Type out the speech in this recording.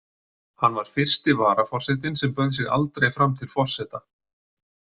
Hann var fyrsti varaforsetinn sem bauð sig aldrei fram til forseta.